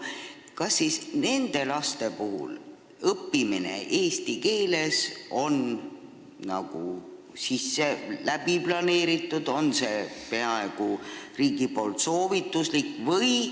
Aga kas riik on seda planeerinud, et need lapsed eesti keeles õpiksid – kas see on peaaegu soovituslik?